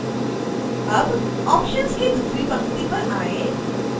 अब ऑप्शन्स की दूसरी पंक्ति पर आएँ